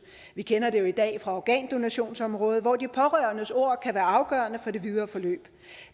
vi kender det jo i dag fra organdonationsområdet hvor de pårørendes ord kan være afgørende for det videre forløb